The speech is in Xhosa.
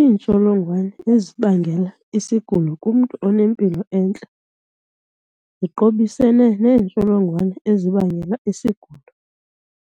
Iintsholongwane ezibangela isigulo kumntu onempilo entle ziqobisene neentsholongwane ezibangela isigulo